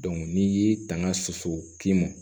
n'i y'i tanga soso kin mɔ